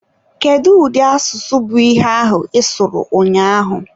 Kedu ụdị asụsụ bụ ihe ahụ ịsụrụ ụnyaahụ?